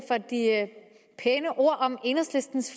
pæne ord om enhedslistens